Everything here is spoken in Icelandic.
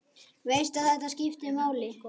Veist að þetta skiptir máli.